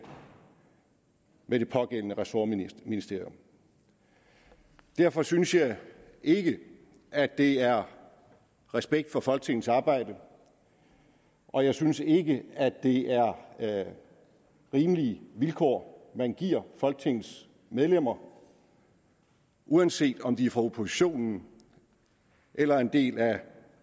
med det pågældende ressortministerium derfor synes jeg ikke at det er respekt for folketingets arbejde og jeg synes ikke at det er rimelige vilkår man giver folketingets medlemmer uanset om de er fra oppositionen eller er en del af